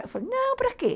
Eu falei, não, para quê?